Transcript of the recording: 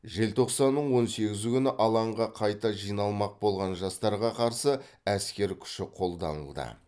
желтоқсанның он сегізі күні алаңға қайта жиналмақ болған жастарға қарсы әскер күші қолданылды